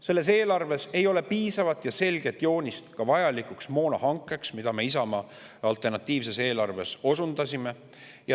Selles eelarves ei ole piisavat ja selget joonist ka vajalikuks moonahankeks, nagu me Isamaa alternatiivses eelarves osundasime.